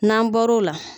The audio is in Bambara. N'an bɔr'o la